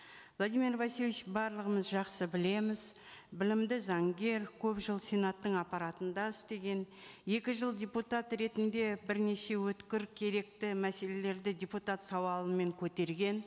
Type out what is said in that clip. владимир васильевич барлығымыз жақсы білеміз білімді заңгер көп жыл сенаттың аппаратында істеген екі жыл депутат ретінде бірнеше өткір керекті мәселелерді депутат сауалымен көтерген